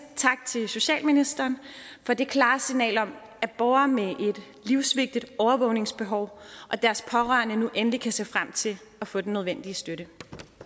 tak til socialministeren for det klare signal om at borgere med et livsvigtigt overvågningsbehov og deres pårørende nu endelig kan se frem til at få den nødvendige støtte